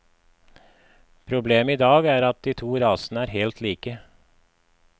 Problemet i dag er at de to rasene er helt like.